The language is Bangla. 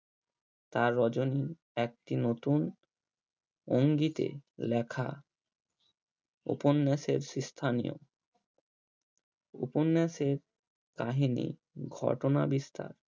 তার রজনী একটি নতুন অঙ্গিতে লেখা উপন্যাসের সেই স্থানে উপন্যাসের কাহিনী ঘটনা বিস্তার